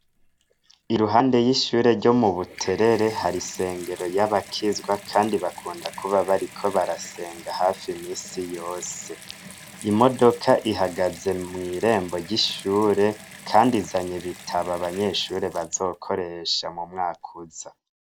Iruhande y'ishure ryo mu Buterere, hari isengero y'abakizwa kandi bakunda kuba bariko barasenga hafi misi yose. Imodoka ihagaze mw'irembo ry'ishure kandi izanye ibitabo abanyeshure bazokoresha mu mwaka uza.